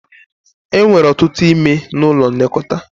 E nwere ọtụtụ ime n'ụlọ nlekọta